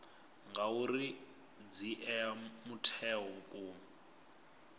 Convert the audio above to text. ngauri dzi ea mutheo vhukuma